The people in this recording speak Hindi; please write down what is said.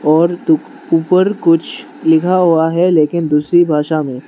और तू ऊपर कुछ लिखा हुआ है लेकिन दूसरी भाषा में।